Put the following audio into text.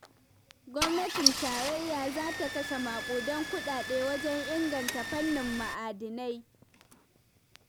Gwamnatin Tarayya za ta kashe maƙudan kuɗaɗe wajen inganta fannin ma'adinai.